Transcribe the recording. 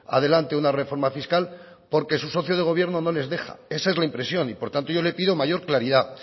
adelante una reforma fiscal porque su socio de gobierno no les deja esa es la impresión y por tanto yo le pido mayor claridad